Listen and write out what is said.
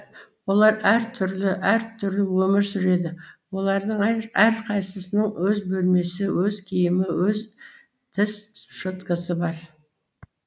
олар әр түрлі әр түрлі өмір сүреді олардың әрқайсысының өз бөлмесі өз киімі өз тіс щеткасы бар